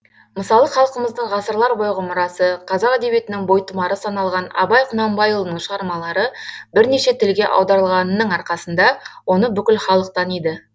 мысалы халқымыздың ғасырлар бойғы мұрасы қазақ әдебиетінің бойтұмары саналған абай құнанбайұлының шығармалары бірнеше тілге аударылғанының арқасында оны бүкіл халық таниды